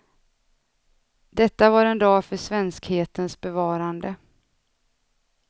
Detta var en dag för svenskhetens bevarande.